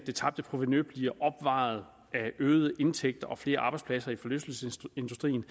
det tabte provenu bliver opvejet af øgede indtægter og flere arbejdspladser i forlystelsesindustrien